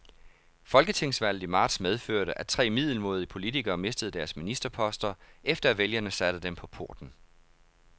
Folketingsvalget i marts medførte, at tre middelmådige politikere mistede deres ministerposter, efter at vælgerne satte dem på porten.